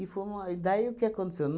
fomo e daí o que aconteceu?